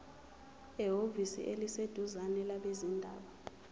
ehhovisi eliseduzane labezindaba